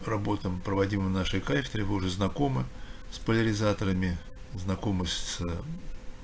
работам проводимым на нашей кафедре вы уже знакомы с поляризаторами знакомы с